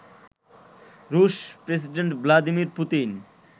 রুশ president Vladimir Putin